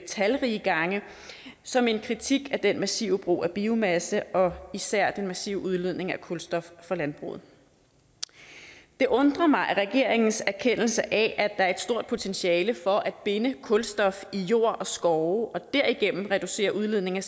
talrige gange som en kritik af den massive brug af biomasse og især den massive udledning af kulstof fra landbruget det undrer mig at regeringens erkendelse af at der er et stort potentiale for at binde kulstof i jord og skove og derigennem reducere udledningen